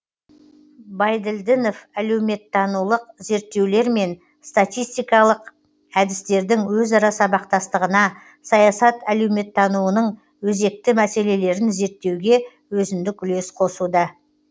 байділдінов әлеуметтанулық зерттеулер мен статистикалық әдістердің өзара сабақгастығына саясат әлеуметтануының өзекгі мәселелерін зерттеуге өзіндік үлес қосуда